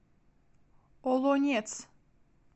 олонец